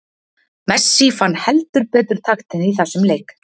Messi fann heldur betur taktinn í þessum leik.